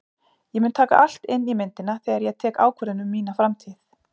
Ég mun taka allt inn í myndina þegar ég tek ákvörðun um mína framtíð.